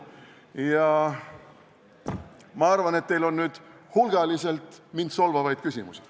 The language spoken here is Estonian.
Aga ma arvan, et teil on nüüd hulgaliselt mind solvavaid küsimusi.